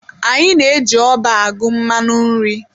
Anyị na-eji ọba agụ mmanụ nri.